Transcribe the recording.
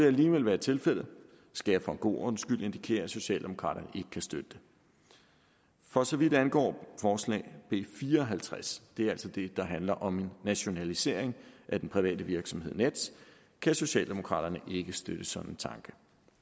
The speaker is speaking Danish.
alligevel være tilfældet skal jeg for god ordens skyld indikere at socialdemokraterne ikke kan støtte det for så vidt angår forslag b fire og halvtreds det er altså det der handler om nationalisering af den private virksomhed nets kan socialdemokraterne ikke støtte sådan en tanke